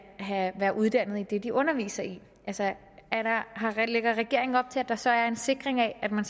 være uddannet i det de underviser i lægger regeringen op til at der så er en sikring af at man